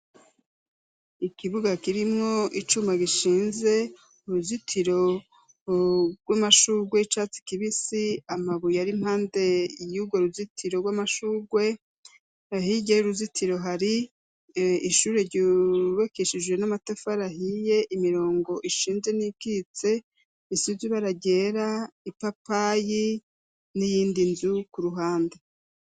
Ikibuga kirimwo icuma gishinze uruzitiro rw'amashurwe y'icatsi kibisi amabuye ari impande y'ugo ruzitiro rw'amashurgwe hirya y'uruzitiro hari ishure ryubakeshijwe n'amatafa rahiye imirongo ishinje n'ibwitse isuju baragera ipapayi n'iyindi nzu ku ruhande.